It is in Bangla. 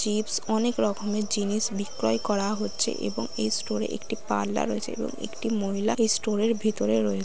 চিপস অনেক রকমের জিনিস বিক্রয় করা হচ্ছে এবং এই স্টোর এ একটি পার্লার রয়েছে এবং একটি মহিলা স্টোর এর ভিতরে রয়েছে।